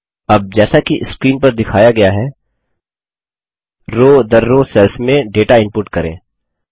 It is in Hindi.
अब जैसा कि स्क्रीन पर दिखाया गया है रो दर रो सेल्स में डेटा इनपुट करें